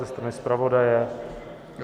Ze strany zpravodaje?